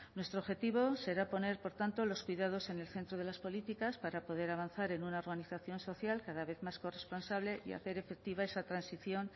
nuestro objetivo será poner por tanto los cuidados en el centro de las políticas para poder avanzar en una organización social cada vez más corresponsable y hacer efectiva esa transición